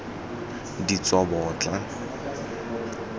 ditsobotla